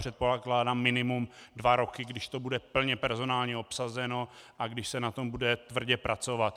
Předpokládám minimum dva roky, když to bude plně personálně obsazeno a když se na tom bude tvrdě pracovat.